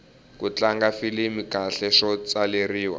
ku tlanga filimi kahle swo tswaleriwa